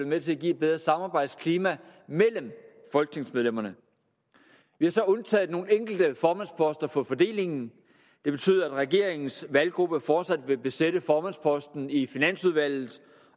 med til at give et bedre samarbejdsklima mellem folketingsmedlemmerne vi har så undtaget nogle enkelte formandsposter fra fordelingen det betyder at regeringens valggruppe fortsat vil besætte formandsposten i finansudvalget